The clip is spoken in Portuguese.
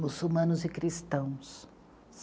muçulmanos e cristãos.